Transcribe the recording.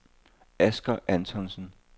Asger Antonsen